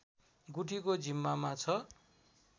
गुठीको जिम्मामा छ